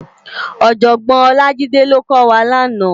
Òjògbòn Olajide ló kò wá làná